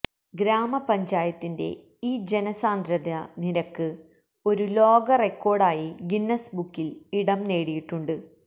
ഗ്രാമപഞ്ചായത്തിന്റെ ഈ ജനസാന്ദ്രതാ നിരക്ക് ഒരു ലോക റെക്കോഡായി ഗിന്നസ് ബുക്കിൽ ഇടം നേടിയിട്ടുണ്ട്